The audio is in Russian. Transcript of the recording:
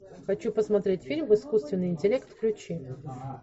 хочу посмотреть фильм искусственный интеллект включи